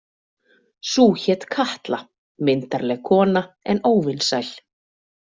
Sú hét Katla, myndarleg kona en óvinsæl.